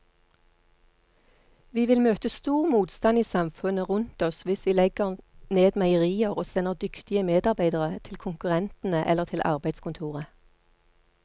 Vi vil møte stor motstand i samfunnet rundt oss hvis vi legger ned meierier og sender dyktige medarbeidere til konkurrentene eller til arbeidskontoret.